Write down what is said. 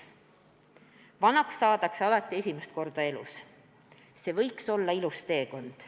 "Vanaks saadakse alati esimest korda elus, see võiks olla ilus teekond.